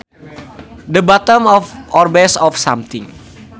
The bottom or base of something